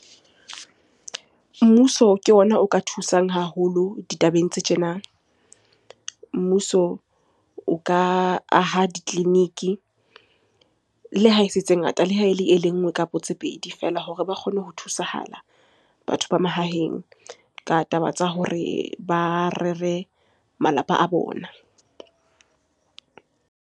Mmuso ke ona o ka thusang haholo ditabeng tse tjena. Mmuso o ka aha ditleliniki. Le ha e se tse ngata, le ha ele e le nngwe kapo tse pedi feela hore ba kgone ho thusahala batho ba mahaheng ka taba tsa hore ba rere malapa a bona.